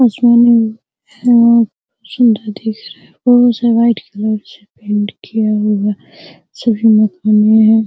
है छोटा दिख रहा है वाइट कलर से पेंट किया हुआ है हैं |